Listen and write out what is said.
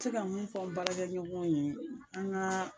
Se ka mun fɔ n balakɛɲɔgɔn ye an ka